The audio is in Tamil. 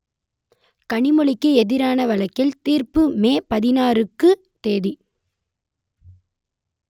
கனிமொழிக்கு எதிரான வழக்கில் தீர்ப்பு மே பதினாருக்கு தேதி